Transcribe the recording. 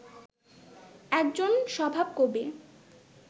একজন স্বভাবকবি